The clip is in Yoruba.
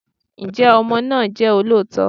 Ǹjẹ́ ọmọ náà jẹ́ olóòótọ́?